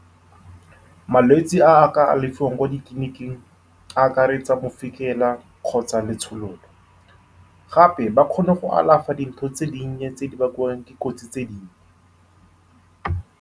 Malwetse a a ka alafiwang kwa ditleniking a akaretsa mofikela kgotsa letshololo. Gape, ba kgona go alafa dintho tse di nnye tse di bakwang ke kotsi tse di nnye.